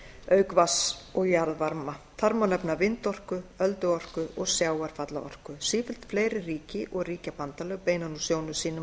auk vatns og jarðvarma þar má nefna vindorku ölduorku og sjávarfallaorku sífellt fleiri ríki og ríkjabandalög beina nú sjónum sínum